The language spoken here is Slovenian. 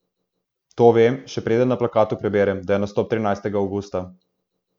To vem, še preden na plakatu preberem, da je nastop trinajstega avgusta.